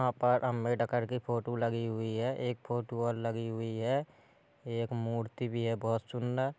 यहां पर अम्बेडकर की फोटो लगी हुई है। एक फोटो और लगी हुई है एक मूर्ति भी है बहुत सुन्दर।